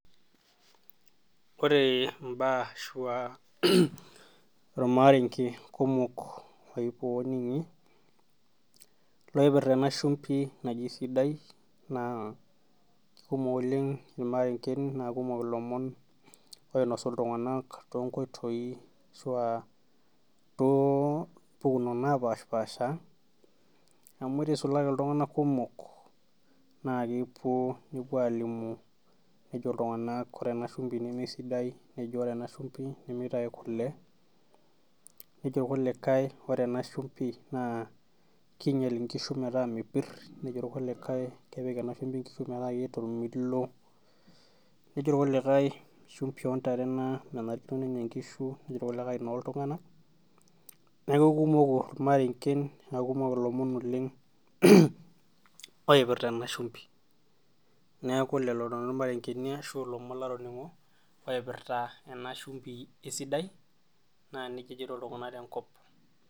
Ore imbaa ashuu irmaarenge kumok ooning'i loipirta ena shumbi naji sidai naa kumok oleng irmarenken naa kumok ilomon oinoshu iltung'anak toonkoitoi ashua toompukunot naapaashapasha amu ore eisulaki iltung'anak kumok naa kepuo nepuo aalimu nejo iltung'anak ore ena shumbi nemesidai nejo metum inkishu kule nejo kulikae ore ena shumbi naa keinyial inkishu metaa mepir nejo kulikae kepik ena shumbi inkishu metaa keeta ormilo nejo irkulikae shumbi oontare ena nemenyor inkishu nejo irkulikae enooltung'anak neeku kumok irmaarenken naakumok iloomon oleng oipirta ena shumbi neeku lelo imarengeni ashua latoning'o oipirta ena shumbu e sidai naa nejia ejoito iltung'anak tenkop.